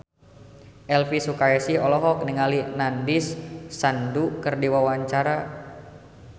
Elvy Sukaesih olohok ningali Nandish Sandhu keur diwawancara